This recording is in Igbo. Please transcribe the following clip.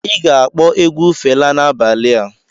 Ị ga-akpọ egwu Fela n'abalị a.